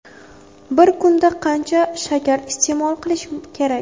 Bir kunda qancha shakar iste’mol qilish kerak?.